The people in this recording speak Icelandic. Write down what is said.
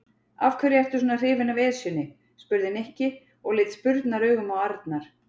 Af hverju ertu svona hrifinn af Esjunni? spurði Nikki og leit spurnaraugum á Arnar.